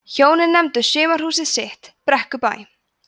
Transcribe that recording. hjónin nefndu sumarhúsið sitt brekkubæ